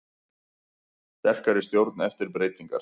Sterkari stjórn eftir breytingar